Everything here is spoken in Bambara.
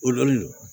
O lo le